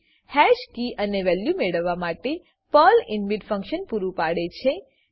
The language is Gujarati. હેશકી અને વેલ્યુ મેળવવા માટે પ્રલ ઇનબિલ્ટ ફંક્શન પૂરું પાડે છે